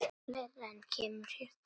Fleira kemur hér til.